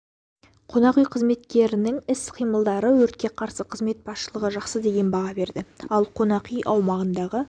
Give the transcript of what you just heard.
қонақ үй қызметкерлерінің іс-қимылдары өртке қарсы қызмет басшылығы жақсы деген баға берді ал қонақ үй аумағындағы